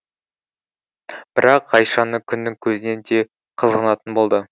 бірақ ғайшаны күннің көзінен де қызғанатын болды